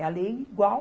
É a lei igual